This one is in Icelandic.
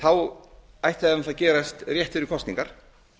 ætti það náttúrlega að gerast rétt fyrir kosningar